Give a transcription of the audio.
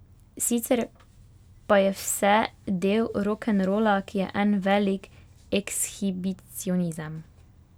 Sicer pa je vse del rokenrola, ki je en velik ekshibicionizem.